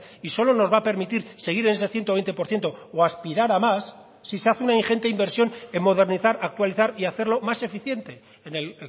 y solo nos va a permitir seguir en ese ciento veinte por ciento o a aspirar a más si se hace una ingente inversión en modernizar actualizar y hacerlo más eficiente en el